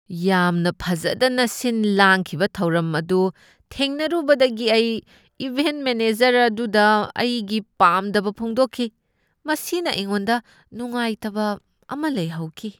ꯌꯥꯝꯅ ꯐꯖꯗꯅ ꯁꯤꯟ ꯂꯥꯡꯈꯤꯕ ꯊꯧꯔꯝ ꯑꯗꯨ ꯊꯦꯡꯅꯔꯨꯕꯗꯒꯤ ꯑꯩ ꯏꯚꯦꯟꯠ ꯃꯦꯅꯦꯖꯔ ꯑꯗꯨꯗ ꯑꯩꯒꯤ ꯄꯥꯝꯗꯕ ꯐꯣꯡꯗꯣꯛꯈꯤ꯫ ꯃꯁꯤꯅ ꯑꯩꯉꯣꯟꯗ ꯅꯨꯡꯉꯥꯏꯇꯕ ꯑꯃ ꯂꯩꯍꯧꯈꯤ꯫